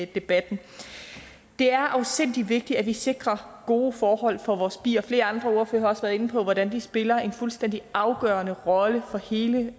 debatten det er afsindig vigtigt at vi sikrer gode forhold for vores bier flere andre ordførere har også været inde på hvordan de spiller en fuldstændig afgørende rolle for hele